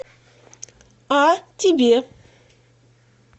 а тебе